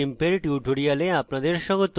meet the gimp এর tutorial আপনাদের স্বাগত